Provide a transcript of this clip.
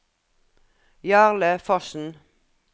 Jarle Fossen